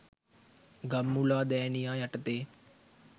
ගම්මුලාදෑනියා යටතේ